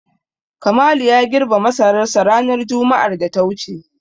Kamalu ya girbe masararsa ranar juma'ar da ta wuce.